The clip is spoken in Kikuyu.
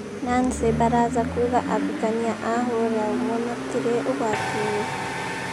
Nancy baraza kuga ahikania a hũra umwe matirĩ ugwatinĩ